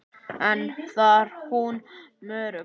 En þar dró hún mörkin.